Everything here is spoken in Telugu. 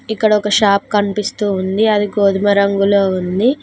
ఇక్కడ ఒక షాప్ కనిపిస్తూ ఉంది అది గోధుమ రంగులో ఉంది.